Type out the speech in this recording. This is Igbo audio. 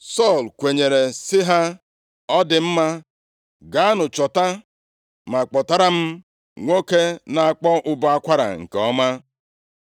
Sọl kwenyere sị ha, “Ọ dị mma, gaanụ chọta ma kpọtara m nwoke na-akpọ ụbọ akwara nke ọma.”